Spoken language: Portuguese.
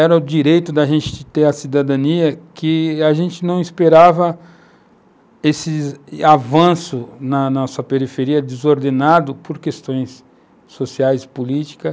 era o direito da gente de ter a cidadania, que a gente não esperava esses avanços na nossa periferia desordenado por questões sociais e políticas.